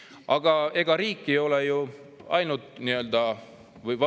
Aga ega riik ei ole ju ainult praegune valitsus.